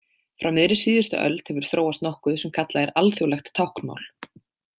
Frá miðri síðustu öld hefur þróast nokkuð sem kallað er alþjóðlegt táknmál.